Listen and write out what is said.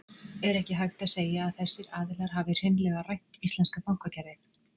Er ekki hægt að segja að þessir aðilar hafi hreinlega rænt íslenska bankakerfið?